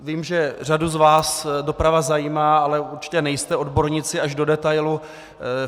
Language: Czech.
Vím, že řadu z vás doprava zajímá, ale určitě nejste odborníci až do detailu.